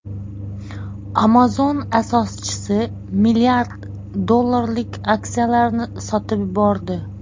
Amazon asoschisi mlrd dollarlik aksiyalarini sotib yubordi.